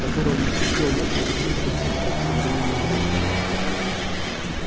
которого не вскипел мозг от синтаксиса в современном русском